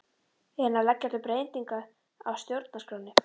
Er hann að leggja til breytingu á stjórnarskránni?